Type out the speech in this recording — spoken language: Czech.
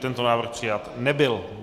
Tento návrh přijat nebyl.